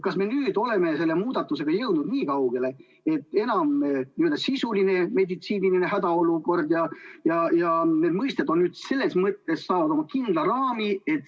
Kas me oleme selle muudatusega jõudnud nii kaugele, et n-ö sisuline meditsiiniline hädaolukord ja need mõisted on nüüd saanud nagu kindla raami?